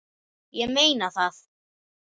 Ég meina það.